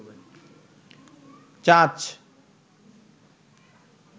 চাচ